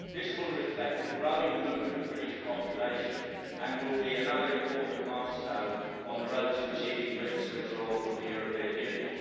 This will reflect the growing mood of the British population and will be another important milestone on the road to achieving Britain's withdrawal from the European Union.